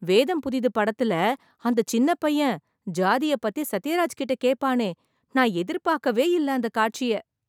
வேதம் புதிது படத்துல அந்த சின்ன பையன் ஜாதிய பத்தி சத்யராஜ் கிட்ட கேப்பானே, நான் எதிர்பாக்கவே இல்ல அந்த காட்சிய.